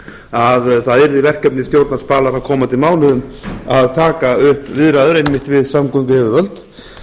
að það yrði verkefni stjórnar spalar á komandi mánuðum að taka upp viðræður einmitt við samgönguyfirvöld